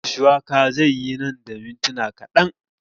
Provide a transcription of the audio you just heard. Miyar shuwakar zai yi nan da mintuna kaɗan